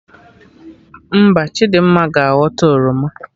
Mba, Chidimma ga aghọta oroma